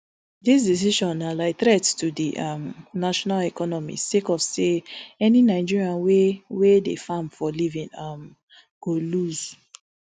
dis decision na like threat to di um national economy sake of say any nigerian wey wey dey farm for living um go loose